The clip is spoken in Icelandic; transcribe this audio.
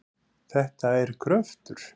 Þetta er gröftur.